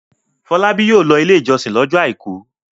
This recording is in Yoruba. Fọlábí yóò lọ Ilé-ìjọsìn lọ́jọ́ àìkú.